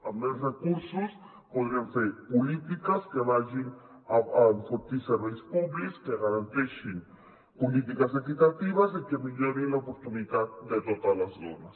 amb més recursos podrem fer polítiques que vagin a enfortir serveis públics que garanteixin polítiques equitatives i que millorin l’oportunitat de totes les dones